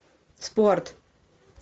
спорт